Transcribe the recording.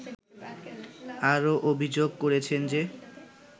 আরও অভিযোগ করেছেন যে